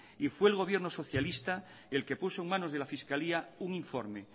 y fue el gobierno socialista el que puso en manos de la fiscalía un informe